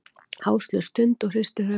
Áslaug stundi og hristi höfuðið.